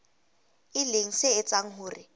e leng se etsang hore